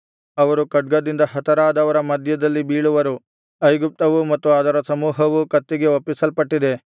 ಅವರು ಖಡ್ಗದಿಂದ ಹತರಾದವರ ಮಧ್ಯದಲ್ಲಿ ಬೀಳುವರು ಐಗುಪ್ತವೂ ಮತ್ತು ಅದರ ಸಮೂಹವೂ ಕತ್ತಿಗೆ ಒಪ್ಪಿಸಲ್ಪಟ್ಟಿದೆ